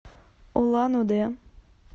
улан удэ